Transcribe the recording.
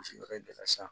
Misi yɔrɔ in bɛɛ la san